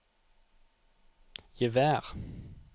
gevær